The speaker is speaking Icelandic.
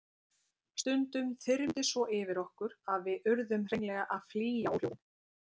Stundum þyrmdi svo yfir okkur að við urðum hreinlega að flýja óhljóðin.